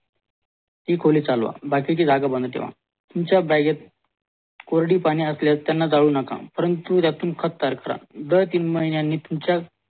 ति खोली चालवा बाकीची जागा बंद ठेवा तुमच्या bag त कोरडी पाने असल्यास त्यांना जाळू नका परंतु खत तयार करा दर तीन महिन्यांनी तुमच्या